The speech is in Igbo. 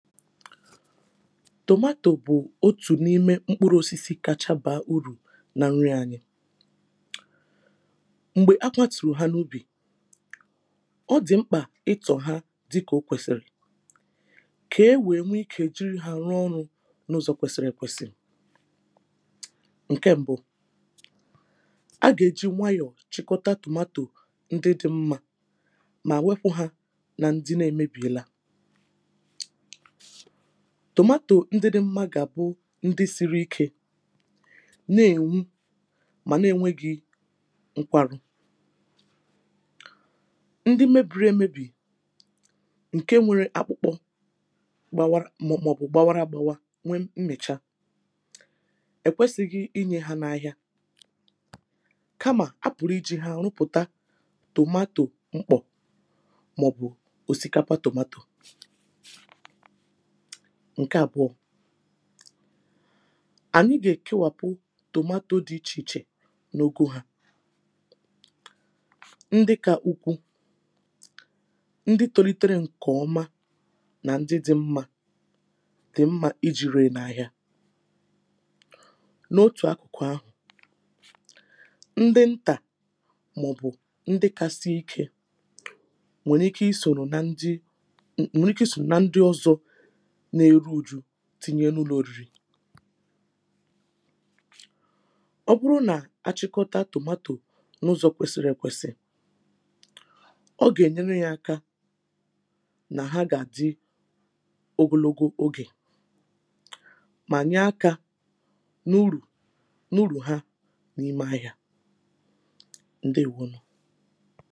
tomatoe bụ̀ otù n’ ime mkpuru osisi kȧchȧ bàa urù nà nri ȧnyị̇ m̀gbè a katùrù ha n’ ubì ọ dị̀ mkpà ịtọ̀ hȧ dịkà o kwèsìrì kà e wèe nwee ikė jìri hȧ rụọ ọrụ̇ n’ ụzọ̀ kwesiri èkwesị ǹke mbụ a gà-èji nwayọ̀ chịkọta tomato ndị dị̇ mmȧ mà wekwu ha nà ndị na-emebìela tomatoe ndịdị mma gà àbụ ndị siri ikė na-ènwu mà na-enweghị nkwarụ ndị mebiri emebì ǹke nwere akpụkpọ mọ̀bụ̀ gbawara gbawa nwee mmèchaa è kwesi̇ghị inyė ha n’ ahịa kamà a pụ̀rụ̀ ijì ha rụpụ̀ta tomato mkpọ̀ màọ̀bụ̀ òsikapa tomato ǹke àbụọ̇ ànyị gà-èkewàpụ tòmato dị̇ ichè ichè nà ogȯ ha ndị kȧ ukwu ndị tȯlitere ǹkè ọma nà ndị dị̇ mmȧ dị̀ mmȧ ijì ree n’àhịa n’otù akụ̀kụ̀ ahụ̀ ndị ntà màọ̀bụ̀ ndị kȧ sie ikė nwèrè ike i soro nà ndị na-eru oju̇ tinye n’ụlọ̀ oriri̇ ọ bụrụ nà achịkọta tomato n’ụzọ̀ kwesịrị ekwesị̀ ọ gà-ènyere yȧ aka nà ha gà-àdị ogologo ogè mà nye akȧ n’urù n’urù ha n’ime ahị̇ȧ ǹdewo nù